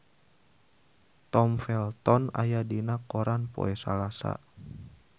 Tom Felton aya dina koran poe Salasa